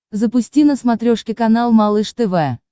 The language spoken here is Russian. запусти на смотрешке канал малыш тв